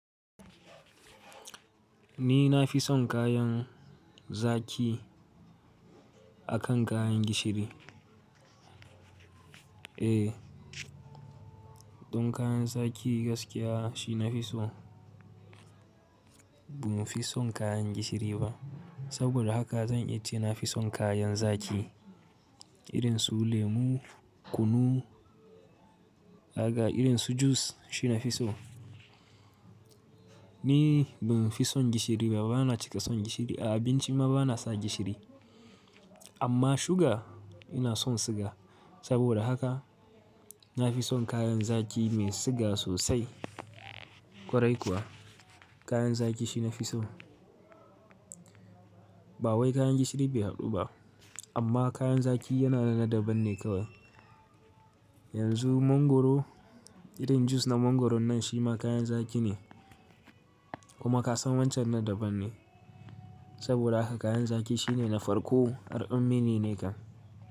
Ni na fi son kayan zaki akan kayan gishiri. Eh, don kayan zaki gaskiya shi nafi so. Ba mu fi son kayan gishiri ba. Saboda haka zan iya ce na fi son kayan zaki irin su lemu, kunu, aga irin su jus shi nafi so. Ni ban fi son gishiri ba, bana cika son gishiri. A abinci ma bana sa gishiri. Amma suga ina son siga. Saboda haka na fi son kayan zaki mai siga sosai. Kwarai kuwa kayan zaki shi nafi so. Ba wai kayan gishiri bai haɗu ba, amma kayan zaki yana da na daban ne kawai. Yanzu mangoro, irin jus na mangoron nan shi ma kayan zaki ne. Kuma kasan wancan na daban ne. Saboda haka kayan zaki shine na farko, har ummi ne nakan.